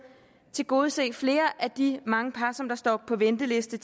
tilgodese flere af de mange par som står på venteliste